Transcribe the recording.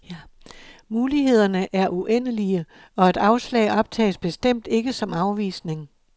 Mulighederne er uendelige, og et afslag optages bestemt ikke som afvisning.